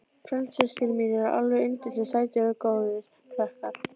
Frændsystkini mín eru alveg yndislega sætir og góðir krakkar.